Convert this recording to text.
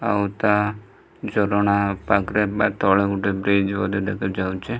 ଆଉ ଏଟା ଝରଣା ପାଖରେ ବା ତଳେ ବ୍ରିଜ ଗୋଟେ ଦେଖାଯାଉଚି।